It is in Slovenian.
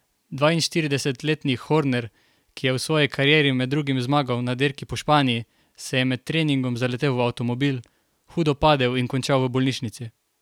Dvainštiridesetletni Horner, ki je v svoji karieri med drugim zmagal na dirki po Španiji, se je med treningom zaletel v avtomobil, hudo padel in končal v bolnišnici.